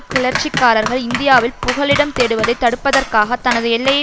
கிளர்ச்சிக்காரர்கள் இந்தியாவில் புகலிடம் தேடுவதை தடுப்பதற்காக தனது எல்லையை